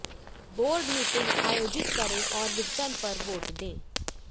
board meeting आयोजित करें और विघटन पर वोट दें